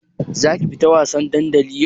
Zaki fita wasan dandali yau?